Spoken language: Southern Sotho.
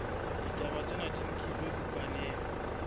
ditaba tsena di nkilwe bukaneng